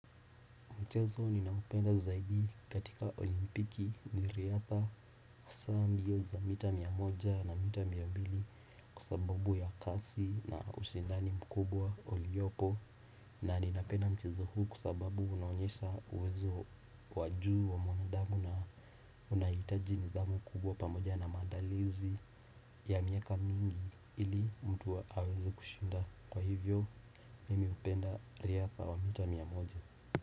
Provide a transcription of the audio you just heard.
Michezo ninaoupenda zaidi katika olimpiki ni riadha za mbio za mita mia moja na mita mbili Kwa sababu ya kasi na ushindani mkubwa oliopo na ninapenda mchezo huu kwa sababu unaonyesha uwezo wa juu wa mwanadamu na unahitaji nidhamu kubwa pamoja na maandalizi ya miaka mingi ili mtu aweze kushinda Kwa hivyo mimi hupenda riadha wa mita mia moja.